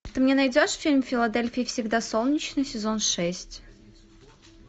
ты мне найдешь фильм в филадельфии всегда солнечно сезон шесть